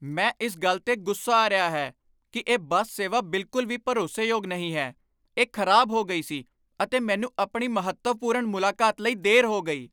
ਮੈਂ ਇਸ ਗੱਲ ਤੇ ਗੁੱਸਾ ਆ ਰਿਹਾ ਹੈ ਕਿ ਇਹ ਬੱਸ ਸੇਵਾ ਬਿਲਕੁਲ ਵੀ ਭਰੋਸੇਯੋਗ ਨਹੀਂ ਹੈ। ਇਹ ਖ਼ਰਾਬ ਹੋ ਗਈ ਸੀ ਅਤੇ ਮੈਨੂੰ ਆਪਣੀ ਮਹੱਤਵਪੂਰਣ ਮੁਲਾਕਾਤ ਲਈ ਦੇਰ ਹੋ ਗਈ!